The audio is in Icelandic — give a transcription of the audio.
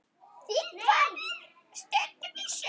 Þið farið stundum í sund.